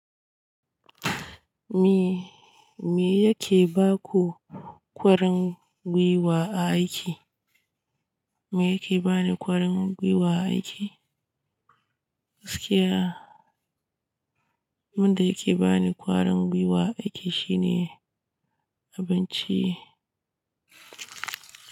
Me, me yake ba ku ƙwarin gwiwa a aiki? Me yake ba ni ƙwarin gwiwa a aiki? Gaskiya, abin da yake ba ni ƙwarin gwiwa a aiki shine abinci.